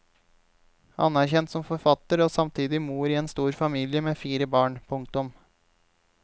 Anerkjent som forfatter og samtidig mor i en stor familie med fire barn. punktum